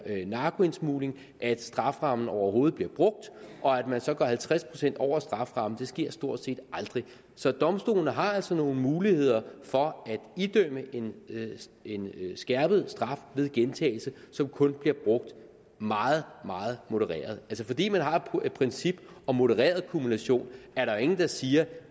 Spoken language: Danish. narkoindsmugling at strafferammen overhovedet bliver brugt og at man så går halvtreds procent over strafferammen sker stort set aldrig så domstolene har altså nogle muligheder for at idømme en en skærpet straf ved gentagelse som kun bliver brugt meget meget modereret fordi man har et princip om modereret kumulation er der jo ingen der siger